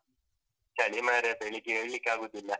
ಚಳಿ ಮಾರ್ರೆ, ಬೆಳಿಗ್ಗೆ ಏಳ್ಳಿಕ್ಕೆ ಆಗುದಿಲ್ಲ.